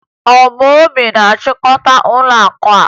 Ọ Obi na-achịkọta ụlọakụ a?